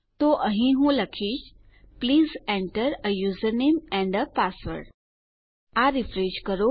તો અહીં હું લખીશ પ્લીઝ enter એ યુઝર નામે એન્ડ એ પાસવર્ડ આ રીફ્રેશ કરો